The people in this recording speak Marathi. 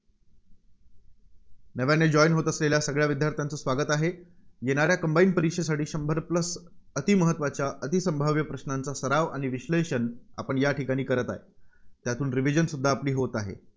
नव्याने join होत असलेल्या सगळ्या विद्यार्थ्यांचं स्वागत आहे. येणाऱ्या combine परीक्षेसाठी शंभर plus अतिमहत्त्वाच्या अतिसंभाव्य प्रश्नांचा सराव आणि विश्लेषण आपण या ठिकाणी करत आहे. त्यातून revision सुद्धा आपली होत आहे.